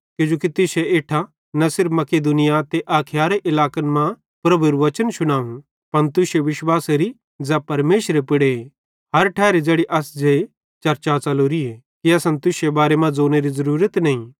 किजोकि तुश्शे इट्ठां न सिर्फ मकिदुनिया ते अखाया इलाकन मां प्रभुएरू वचन शुनावं पन तुश्शे विश्वासेरी ज़ै परमेशरे पुड़ हर ठैरी ज़ैड़ी अस जे चर्चा फेलोरीए कि असन तुश्शे बारे मां ज़ोनेरी ज़रूरत नईं